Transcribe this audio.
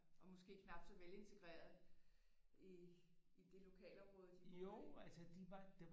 Og måske knap så velintegrerede i i det lokalområde de boede i